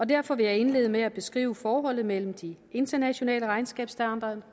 derfor indlede med at beskrive forholdet mellem de internationale regnskabsstandarder